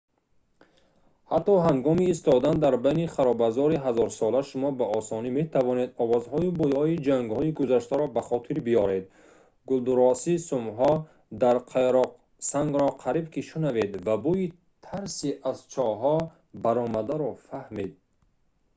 ҳатто ҳангоми истодан дар байни харобазори ҳазорсола шумо ба осонӣ метавонед овозҳою бӯйҳои ҷангҳои гузаштаро ба хотир биёред гулдурроси сумҳо дар қайроқсангро қариб ки шунавед ва бӯйи тарси аз чоҳҳо баромадаро фаҳмед